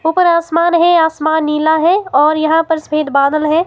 ऊपर आसमान है आसमान नीला है और यहां पर सफेद बादल हैं।